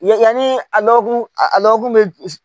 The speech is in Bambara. Yanni a lɔ kun a lɛw bɛ